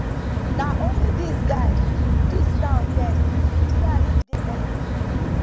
na only dis guy dis town get see as as he dey everywhere